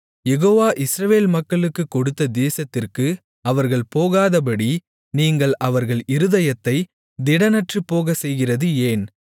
Jehovah Israel மக்களுக்கு கொடுத்த தேசத்திற்கு அவர்கள் போகாதபடி நீங்கள் அவர்கள் இருதயத்தைத் திடனற்றுப்போகச்செய்கிறது ஏன்